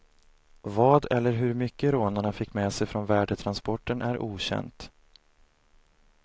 Vad eller hur mycket rånarna fick med sig från värdetransporten är okänt.